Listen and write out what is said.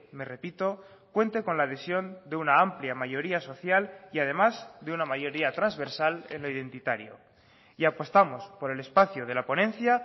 me repito cuente con la adhesión de una amplia mayoría social y además de una mayoría transversal en lo identitario y apostamos por el espacio de la ponencia